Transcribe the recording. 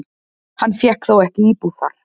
Hann fékk þó ekki íbúð þar.